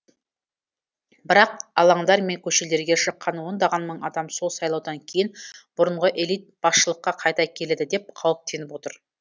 бірақ алаңдар мен көшелерге шыққан ондаған мың адам сол сайлаудан кейін бұрынғы элита басшылыққа қайта келеді деп қауіптеніп отыр